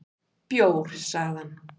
"""Bjór, sagði hann."""